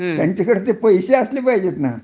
त्यांचाकडे पैसे असयला पाहीजेत ना